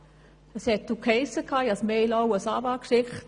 Ich habe auch eine E-Mail an die AWA geschickt.